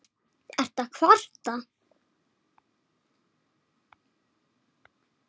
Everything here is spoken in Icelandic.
Ertu að kvarta?